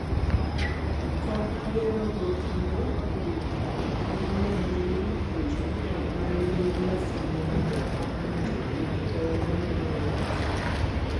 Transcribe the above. kop yorego kendo med nying chokruok maru gi number sim mondo okony jopur kwayo mwadu mayot